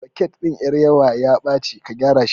Soket ɗin ƴar yawan ya ɓaci ka gyara shi